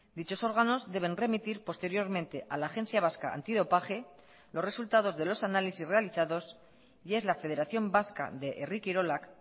dichos órganos deben remitir posteriormente a la agencia vasca antidopaje los resultados de los análisis realizados y es la federación vasca de herri kirolak